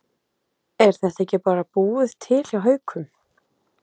Er þetta ekki bara búið til hjá Haukum?